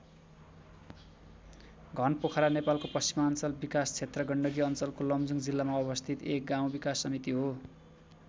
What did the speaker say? घनपोखरा नेपालको पश्चिमाञ्चल विकास क्षेत्र गण्डकी अञ्चलको लमजुङ जिल्लामा अवस्थित एक गाउँ विकास समिति हो।